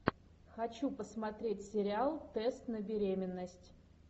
хочу посмотреть сериал тест на беременность